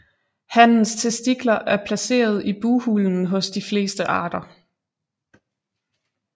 Hannens testikler er placeret i bughulen hos de fleste arter